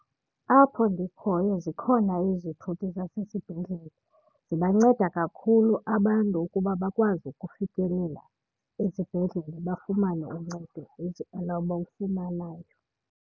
Apho ndikhoyo zikhona izithuthi zasesibhedlele. Zibanceda kakhulu abantu ukuba bakwazi ukufikelela ezibhedlele bafumane uncedo labawufumanayo.